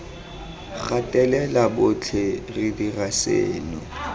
gatelela botlhe re dira seno